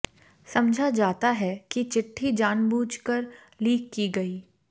समझा जाता है कि चिट्ठी जानबूझ कर लीक की गई